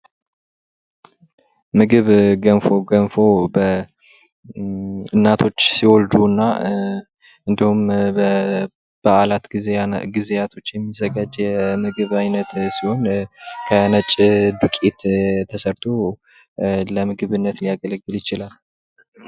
ምግብ ገንፎ ገንፎ እናቶች ሲወልዱና እንድሁም በበአላት ጊዜያቶች የሚዘጋጅ የምግብ አይነት ሲሆን ከነጭ ዱቄት ተሰርቶ ለምግብነት ሊያገለግል ይችላል።